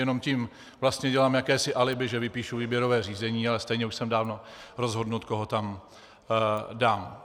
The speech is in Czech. Jenom tím vlastně dělám jakési alibi, že vypíšu výběrové řízení, ale stejně už jsem dávno rozhodnut, koho tam dám.